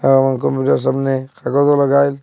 অ কম্পিউটারের সামনে আর কতগুলো গাইল।